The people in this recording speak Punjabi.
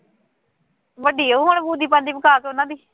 ਵੱਡੀ ਉਹ ਪਾਸ ਉਹਨਾ ਨੇ